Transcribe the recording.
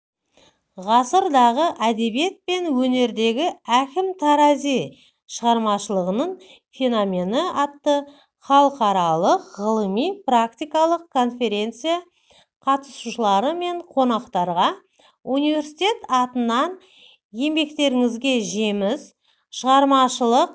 ғасырдағы әдебиет пен өнердегі әкім тарази шығармашылығының феномені атты халықаралық ғылыми-практикалық конференция қатысушылары мен қонақтарға университет атынан еңбектеріңізге жеміс шығармашылық